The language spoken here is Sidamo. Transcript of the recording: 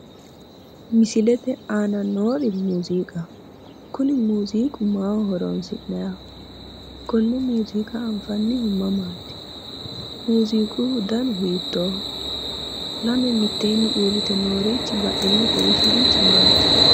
Misilete aana noori muuziqaho, kuninmuuziiqu maaho horonsi'nanniho? konne muuziiqa anfannihu mamaati? muuziiquhu danu hiittoho? Lame mitteenni uurrite noorichi badheenni kolishshurichi maati?